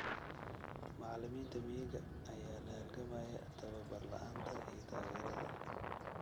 Macallimiinta miyiga ayaa la halgamaya tababar la'aanta iyo taageerada.